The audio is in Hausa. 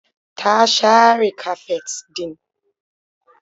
Ta share kafet ɗin.